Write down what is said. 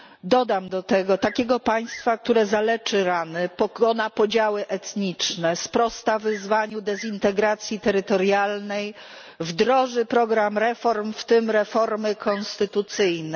Dodam do tego takiego państwa, które zaleczy rany, pokona podziały etniczne, sprosta wyzwaniu dezintegracji terytorialnej, wdroży program reform, w tym reformy konstytucyjnej.